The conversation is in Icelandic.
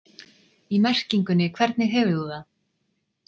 í merkingunni hvernig hefur þú það?